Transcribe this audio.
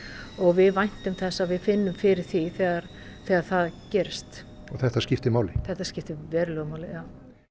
og við væntum þess að við finnum fyrir því þegar þegar það gerist og þetta skiptir máli þetta skiptir verulegu máli já